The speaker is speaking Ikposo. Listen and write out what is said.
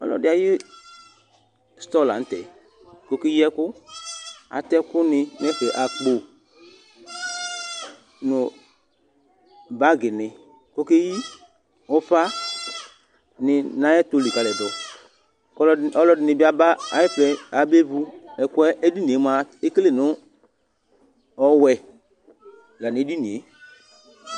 Ɔlʋɛɖì ayʋ store la ŋtɛ kʋ ɔkeyi ɛku Atɛ ɛku ni ŋu ɛfɛ Akpo ŋu bag ni kʋ ɔkeyi ʋfa ni ŋu ayʋ ɛtu likaliɖu kʋ alʋɛdìní bi aba ayifʋɛ, ayaba vu ɛku'ɛ Ɛɖìníe mʋa ekele ŋu ɔwɛ la ŋu ɛɖìníe